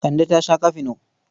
Kande ta sha kafino.